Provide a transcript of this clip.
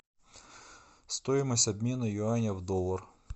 стоимость обмена юаня в доллар